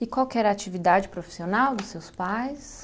E qual que era a atividade profissional dos seus pais?